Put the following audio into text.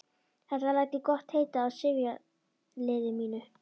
Þetta læt ég gott heita af sifjaliði mínu.